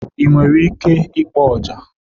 Ị nwere ike ịkpọ ọjà?